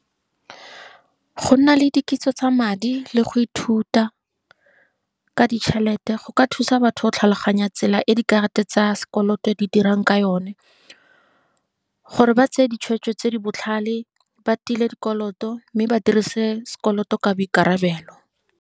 Go nna le dikitso tsa madi, le go ithuta ka ditšhelete, go ka thusa batho go tlhaloganya tsela e dikarata tsa sekoloto di dirang ka yone, gore ba tseye ditshwetso tse di botlhale ba tile dikoloto, mme ba dirise sekoloto ka boikarabelo.